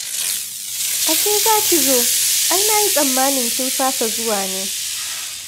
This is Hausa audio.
Ashe za ki zo! Ai na yi tsammanin kin fasa zuwa ne?